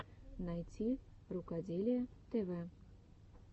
найти рукоделие тв